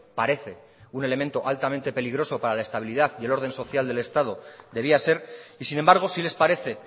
parece un elemento altamente peligroso para la estabilidad y el orden social del estado debía ser y sin embargo sí les parece